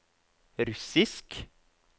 russisk